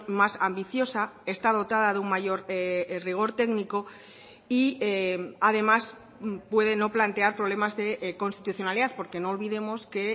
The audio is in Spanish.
más ambiciosa está dotada de un mayor rigor técnico y además puede no plantear problemas de constitucionalidad porque no olvidemos que